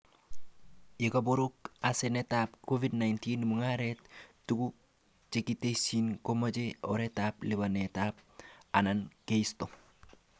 Ya kabok asenetab Covid-19,mugaretab tuguk chekitesyi komache oretab lipanet anan keisto